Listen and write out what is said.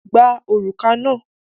Gba òrùka náà!